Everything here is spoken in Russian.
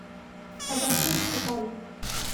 табачный капитан